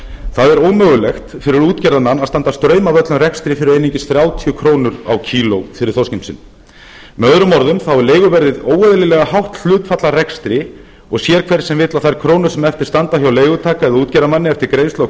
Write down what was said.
það er ómögulegt fyrir útgerðarmann að standa straum af öllum rekstri fyrir einungis þrítugasta krónur á kíló fyrir þorskinn sinn með öðrum orðum þá er leiguverðið óeðlilega hátt hlutfall af rekstri og sér það hver sem vill að þær krónur sem eftir standa hjá leigutaka eða útgerðarmanni eftir greiðslu á